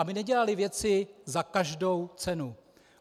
Aby nedělali věci za každou cenu.